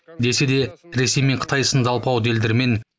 десе де ресей мен қытай сынды алпауыт елдермен